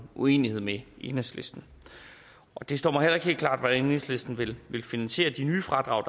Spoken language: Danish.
uenighed med enhedslisten det står mig heller ikke helt klart hvordan enhedslisten vil finansiere de nye fradrag